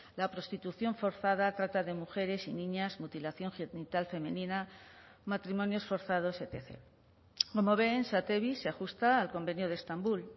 la prostitución forzada trata de mujeres y niñas mutilación genital femenina matrimonios forzados etc como ven satevi se ajusta al convenio de estambul